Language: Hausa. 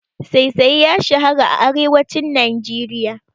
Saisaye ya shara a arewacin Najeriya.